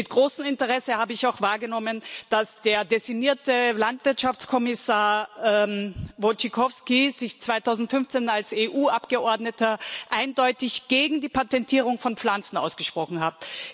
Mit großem Interesse habe ich auch wahrgenommen, dass der designierte Landwirtschaftskommissar Wojciechowski sich 2015 als EU Abgeordneter eindeutig gegen die Patentierung von Pflanzen ausgesprochen hat.